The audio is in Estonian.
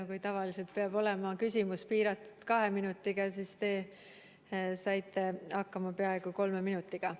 Kui tavaliselt peab olema küsimus piiratud kahe minutiga, siis teie saite hakkama peaaegu kolme minutiga.